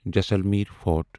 Jaisalmer fort